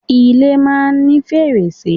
Ilé máa ń ní fèrèsé.